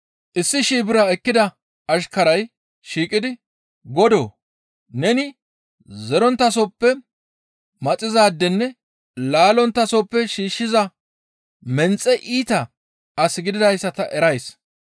«Issi shii bira ekkida ashkarazi shiiqidi, ‹Godoo! Neni zeronttasoppe maxizaadenne laallonttasoppe shiishshiza menxe iita as gididayssa ta erays.